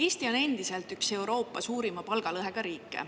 Eesti on endiselt üks Euroopa suurima palgalõhega riike.